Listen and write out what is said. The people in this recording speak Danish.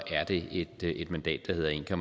det et mandat der hedder en